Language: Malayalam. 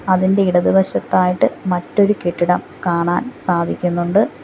അതിന്റെ ഇടതുവശത്തായിട്ട് മറ്റൊരു കെട്ടിടം കാണാൻ സാധിക്കുന്നുണ്ട്.